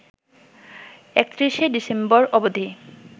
৩১শে December অবধি